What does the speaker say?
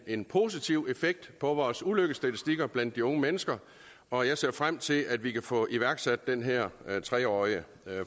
en positiv effekt på vores ulykkesstatistikker blandt de unge mennesker og jeg ser frem til at vi kan få iværksat den her tre årige